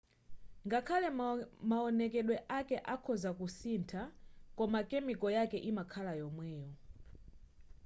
ngakhale mawonekedwe ake akhoza kusintha koma chemical yake imakhala yomweyo